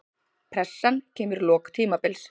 Pressan kemur í lok tímabils.